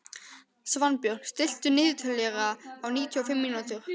Svanbjörn, stilltu niðurteljara á níutíu og fimm mínútur.